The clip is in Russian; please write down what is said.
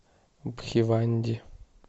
бхиванди